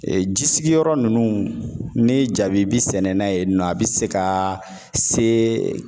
Ee ji sigiyɔrɔ ninnu, ni jabi bi sɛnɛna yen nɔ a bi se ka se